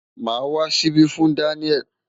Màá wá ṣíbí fún Daniel.